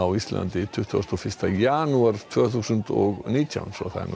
Íslandi hinn tuttugasta og fyrsta janúar tvö þúsund og nítján